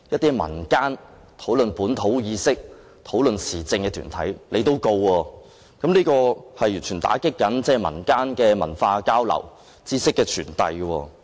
是討論本土意識或時政的民間團體，這完全打擊民間的文化交流和知識傳遞。